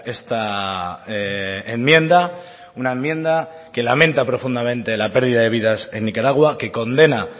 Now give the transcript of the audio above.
esta enmienda una enmienda que lamenta profundamente la pérdida de vidas en nicaragua que condena